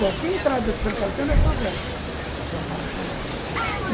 Qualquer entrada de São Caetano é favela, de São Paulo para lá.